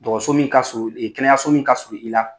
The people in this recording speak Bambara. Dɔgɔtɔrɔso min ka surun ee kɛnɛyaso min ka surun i la